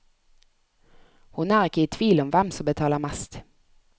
Hun er ikke i tvil om hvem som betaler mest.